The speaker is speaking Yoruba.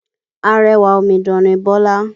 Arẹwà omidan ni Bọ́lá.